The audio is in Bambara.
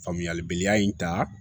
Faamuyalibaliya in ta